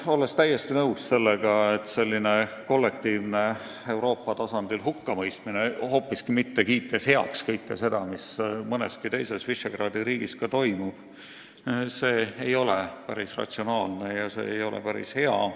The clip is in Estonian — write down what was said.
Olen täiesti nõus sellega, et selline kollektiivne Euroopa tasandil hukkamõistmine, hoopiski kiitmata heaks kõike seda, mis mõnes teiseski Visegrádi riigis toimub, ei ole päris ratsionaalne ja päris hea.